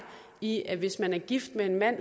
i at hvis man er gift med en mand